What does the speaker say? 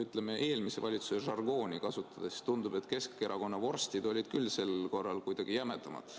Ja kui eelmise valitsuse žargooni kasutada, siis tundub, et Keskerakonna vorstid olid küll sel korral kuidagi jämedamad.